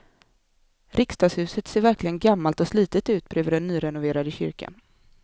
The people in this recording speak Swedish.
Riksdagshuset ser verkligen gammalt och slitet ut bredvid den nyrenoverade kyrkan.